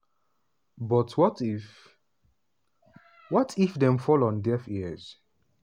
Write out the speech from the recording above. but what if what if dem fall on deaf ears?